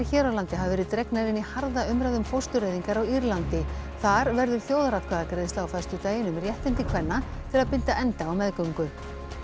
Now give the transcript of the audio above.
hér á landi hafa verið dregnar inn í harða umræðu um fóstureyðingar á Írlandi þar verður þjóðaratkvæðagreiðsla á föstudaginn um réttindi kvenna til að binda enda á meðgöngu